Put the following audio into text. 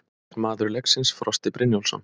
Maður leiksins: Frosti Brynjólfsson